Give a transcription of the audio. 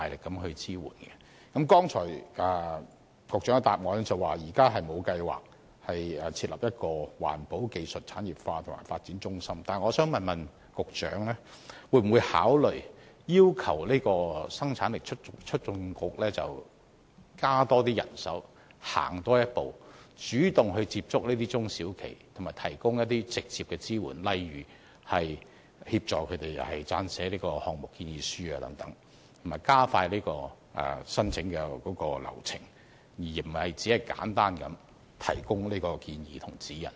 局長剛才答覆指現時沒有計劃設立一個環保技術產業化和發展中心，但我想問局長會否考慮要求生產力促進局增加人手，多走一步，主動接觸中小企及提供直接支援，例如協助它們撰寫項目建議書等，以及加快申請流程，而非只是簡單提供建議和指引。